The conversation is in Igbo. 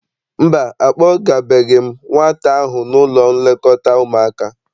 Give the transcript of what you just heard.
Mba, akpọgabeghị m nwata ahụ n'ụlọ nlekọta ụmụaka.